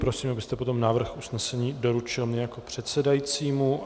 Prosím, abyste potom návrh usnesení doručil mně jako předsedajícímu.